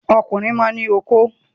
Ọmọkùnrin máa ń ní okó.